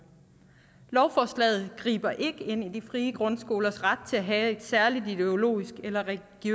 lovforslaget griber ikke ind i de frie grundskolers ret til at have et særligt ideologisk eller